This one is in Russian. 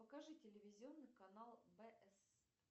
покажи телевизионный канал бс